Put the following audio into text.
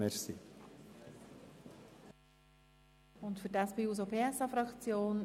Gibt es noch weitere Fraktionen?